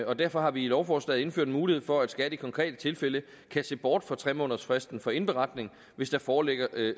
og derfor har vi i lovforslaget indført en mulighed for at skat i konkrete tilfælde kan se bort fra tre månedersfristen for indberetning hvis der foreligger